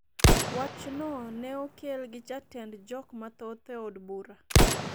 wachno ne okel gi jatend jok mathoth e od bura